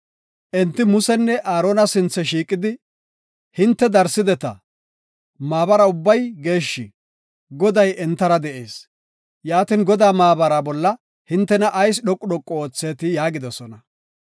Enti Musenne Aarona sinthe shiiqidi, “Hinte darsideta; maabara ubbay geeshshi; Goday entara de7ees. Yaatin, Godaa maabara bolla hintena ayis dhoqu dhoqu oothetii?” yaagidosona.